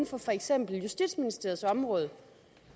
for for eksempel justitsministeriets område